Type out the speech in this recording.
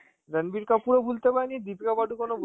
রাণবীর কাপুরও ভুলতে পারিনি, দীপিকা পাডুকোনও